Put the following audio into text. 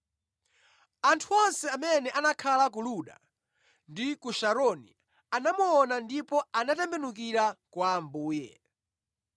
Anthu onse amene anakhala ku Luda ndi ku Sharoni anamuona ndipo anatembenukira kwa Ambuye.